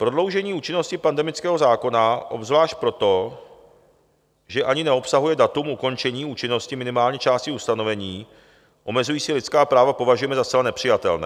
Prodloužení účinnosti pandemického zákona, obzvlášť proto, že ani neobsahuje datum ukončení účinnosti minimálně části ustanovení omezující lidská práva, považujeme za zcela nepřijatelné.